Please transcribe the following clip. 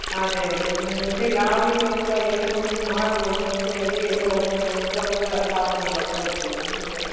ಅದೇ ಅದೇ ಇನ್ನು ಮುಂದೆ ಯಾವ ರೀತಿ ಎಲ್ಲ improvement ಮಾಡಬೋದು ಅಂತ ಹೇಳಿ ಎಲ್ಲ ಒಂದೊಂದ್ ಹೊಸ ಹೊಸ ಕಾನೂನು ಬರ್ತಾ ಇರ್ತದೆ ಅಲ್ವಾ.